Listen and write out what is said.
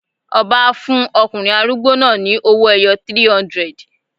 Ọba á fún ọkùnrin arúgbó náà ni owó-ẹyọ 300.